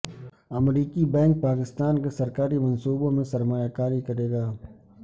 امریکی بینک پاکستان کے سرکاری منصوبوں میں سرمایہ کاری کرے گا